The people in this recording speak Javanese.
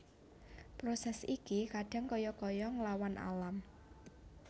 Proses iki kadang kaya kaya nglawan alam